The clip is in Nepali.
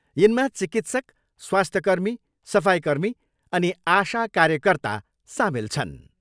यिनमा चिकित्सक, स्वास्थ्यकर्मी, सफाइकर्मी अनि आशा कार्यकर्ता सामेल छन्।